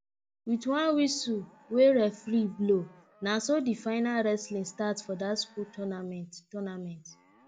with one whistle wey referee blow naso the final wrestling start for that school tounament tounament